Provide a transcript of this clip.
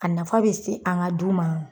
A nafa bɛ se an ka du ma an.